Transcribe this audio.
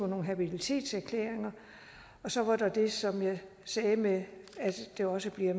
nogle habilitetserklæringer og så er der det som jeg sagde med at det også bliver